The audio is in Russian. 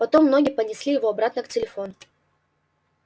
потом ноги понесли его обратно к телефону